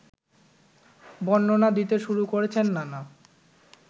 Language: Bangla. বর্ণনা দিতে শুরু করেছেন নানা